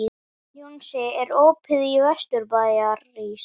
Jónsi, er opið í Vesturbæjarís?